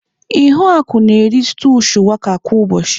Ihuaku na-eri stúu shuwaka kwa ụbọchị.